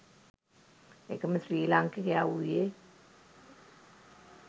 එකම ශ්‍රී ලාංකිකයා වූයේ